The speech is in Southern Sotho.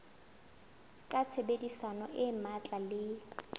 ka tshebedisano e matla le